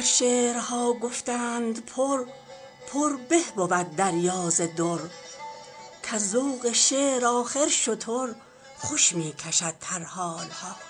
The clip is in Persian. گر شعرها گفتند پر پر به بود دریا ز در کز ذوق شعر آخر شتر خوش می کشد ترحال ها